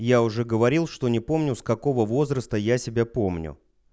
я уже говорил что не помню с какого возраста я себя помню